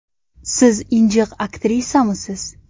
Siz injiq aktrisamisiz?